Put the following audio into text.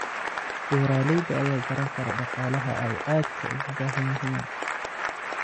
Beeralayda ayaa garan kara dhaqaalaha ay aadka ugu baahan yihiin.